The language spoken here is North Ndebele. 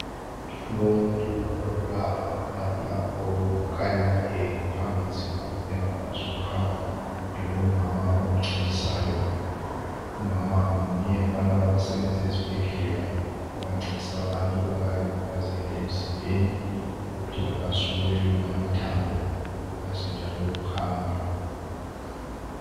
Kulomuntu ongubaba lapha okhanya ehamba nzima kumbe engakwanisi ukuhamba kulomama omncedisayo. Umama ngomunye walaba abasebenza ezibhedlela abancedisa abantu abayabe bekhubazekile emzimbeni ukuthi bekwanise ukwelula amathambo bekwanise njalo ukuhamba.